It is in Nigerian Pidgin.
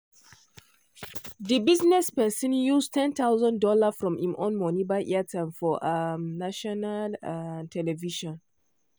de business person use one thousand dollars0 from im own monie buy airtime for um national um television.